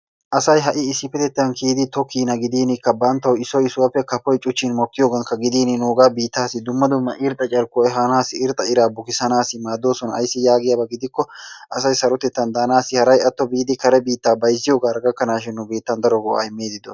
Asay ha'i issippetettan kiyidi tokkiina gidinikka banttawu issoy issuwappe gidin kafoy cuchchin mokkiinakka gidin nuuga biittaassi dumma dumma irxxa carkkuwa ehaanassi irxxa iraa bukkiddanaassi maaddoosona. Ayssi yaagiyaba gidikko asay sarotettan daanaassi haray atto biidi kare biittaa bayzziyogaara gakkanaashin daro go'aa immidi doo..